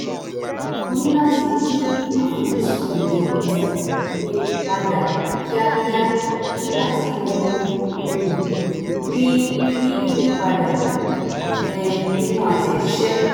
mo ní láti yí àfojúsùn mi padà kíákíá nígbà tí mo um rí rí ìyípadà um nínú àtẹ̀jíṣẹ́